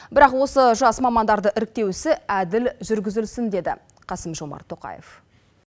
бірақ осы жас мамандарды іріктеу ісі әділ жүргізілсін деді қасым жомарт тоқаев